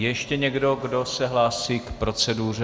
Je ještě někdo, kdo se hlásí k proceduře?